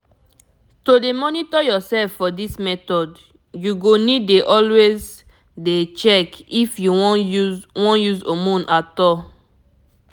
to dey monitor yourself for this method you go need dey always dey check if you wan use wan use hormone at all